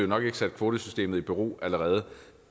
nok ikke sat kvotesystemet i bero allerede